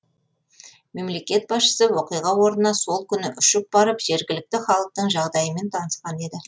мемлекет басшысы оқиға орнына сол күні ұшып барып жергілікті халықтың жағдайымен танысқан еді